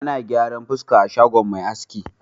Ana gyaran fuska a shagon mai aski.